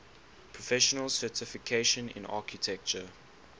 professional certification in architecture